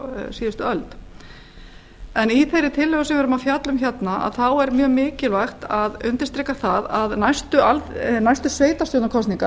síðustu öld en í þeirri tillögu sem við erum að fjalla um hérna þá er mjög mikilvægt að undirstrika það að næstu sveitarstjórnarkosningar verða árið